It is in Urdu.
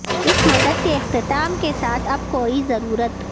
اس مدت کے اختتام کے ساتھ اب کوئی ضرورت